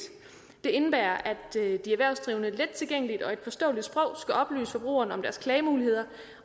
det indebærer at de erhvervsdrivende lettilgængeligt og i et forståeligt sprog skal oplyse forbrugerne om deres klagemuligheder